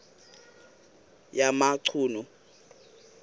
yamachunu